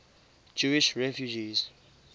jewish refugees